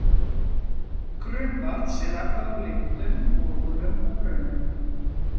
Grunnvatns er aflað úr lindum, borholum og brunnum.